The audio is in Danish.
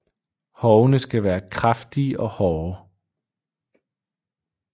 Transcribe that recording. Hovene skal være kraftige og hårde